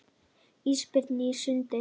Ísbirnir á sundi.